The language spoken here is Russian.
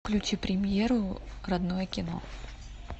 включи премьеру родное кино